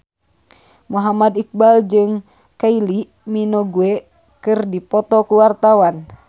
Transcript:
Muhammad Iqbal jeung Kylie Minogue keur dipoto ku wartawan